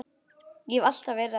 Og hef alltaf verið það.